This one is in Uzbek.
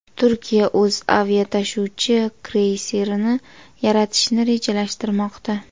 Turkiya o‘z aviatashuvchi kreyserini yaratishni rejalashtirmoqda.